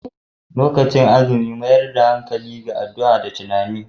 Lokacin azumi mayar da hankali ga addu'a da tunani.